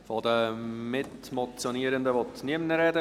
Von den Mitmotionierenden will niemand sprechen.